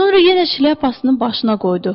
Sonra yenə şlyapasını başına qoydu.